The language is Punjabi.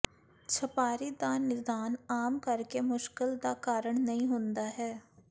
ਛਪਾਕੀ ਦਾ ਨਿਦਾਨ ਆਮ ਕਰਕੇ ਮੁਸ਼ਕਲ ਦਾ ਕਾਰਣ ਨਹੀਂ ਹੁੰਦਾ ਹੈ